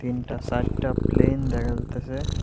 তিনটা চাইরটা প্লেন দেখা যাইতাসে।